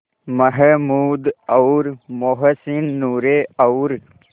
महमूद और मोहसिन नूरे और